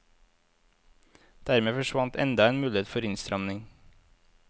Dermed forsvant enda en mulighet for innstramning.